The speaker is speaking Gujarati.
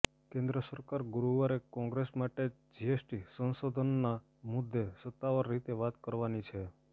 કેન્દ્ર સરકાર ગુરુવારે કોંગ્રેસ સાથે જીએસટી સંશોધનના મુદ્દે સત્તાવાર રીતે વાત કરવાની છે